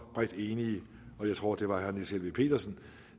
bredt enige jeg tror det var niels helveg petersen